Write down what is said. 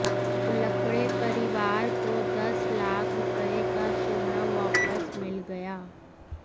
उल्कडे परिवार को दस लाख रुपये का सोना वापस मिल गया